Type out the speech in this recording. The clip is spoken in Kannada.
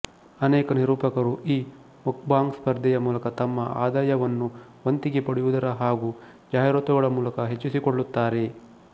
ಅನೇಕ ನಿರೂಪಕರು ಈ ಮುಕ್ಬಾಂಗ್ ಸ್ಪರ್ಧೆಯ ಮೂಲಕ ತಮ್ಮ ಆದಾಯವನ್ನುವಂತಿಗೆ ಪಡೆಯುವುದರ ಹಾಗೂ ಜಾಹಿರಾತುಗಳ ಮೂಲಕ ಹೆಚ್ಚಿಸಿಕೊಳ್ಳುತ್ತಾರೆ